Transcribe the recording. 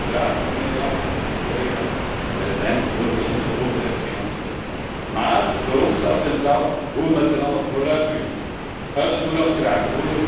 Ja, uiteraard, mijnheer Langen en collega's, wij zijn voor gezonde overheidsfinanciën, maar voor ons staat centraal hoe we met z'n allen vooruit kunnen, hoe we uit het moeras kunnen geraken.